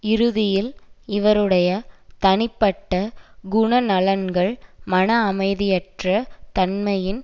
இறுதியில் இவருடைய தனிப்பட்ட குணநலன்கள் மன அமைதியற்ற தன்மையின்